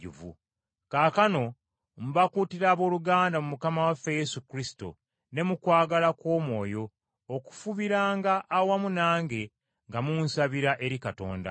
Kaakano mbakuutira abooluganda, mu Mukama waffe Yesu Kristo ne mu kwagala kw’Omwoyo, okufubiranga awamu nange, nga munsabira eri Katonda,